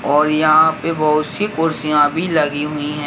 और यहां पे बहोत सी कुर्सियां भी लगी हुईं हैं।